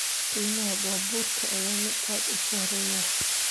Qiimaha baabuurka ayaa ah mid aad u sarreeya